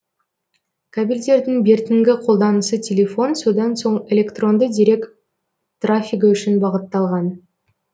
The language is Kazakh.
кабельдердің бертінгі қолданысы телефон содан соң электронды дерек трафигі үшін бағытталған